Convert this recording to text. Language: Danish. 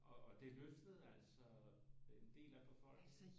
Og det løftede altså en del af befolkningen?